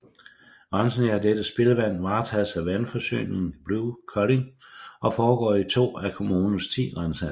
Rensningen af dette spildevand varetages af vandforsyningen Blue Kolding og foregår i to af kommunens 10 renseanlæg